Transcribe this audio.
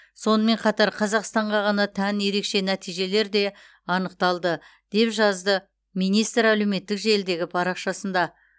сонымен қатар қазақстанға ғана тән ерекше нәтижелер де анықталды деп жазды министр әлеуметтік желідегі парақшасында